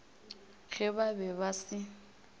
ge ba be ba se